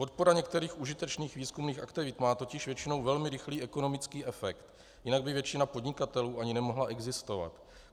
Podpora některých užitečných výzkumných aktivit má totiž většinou velmi rychlý ekonomický efekt, jinak by většina podnikatelů ani nemohla existovat.